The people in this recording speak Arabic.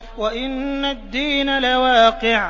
وَإِنَّ الدِّينَ لَوَاقِعٌ